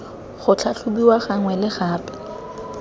go tlhatlhobiwa gangwe le gape